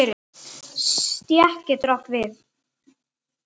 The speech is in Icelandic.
Stétt getur átt við